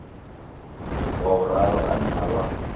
wa vhuraru ane a vha